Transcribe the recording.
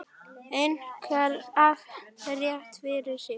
Henrik hafði rétt fyrir sér.